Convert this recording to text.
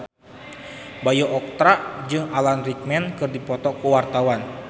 Bayu Octara jeung Alan Rickman keur dipoto ku wartawan